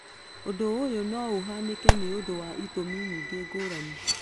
Ũndũ ũyũ no ũhanĩke nĩũndũ wa itũmi nyingĩ ngũrani.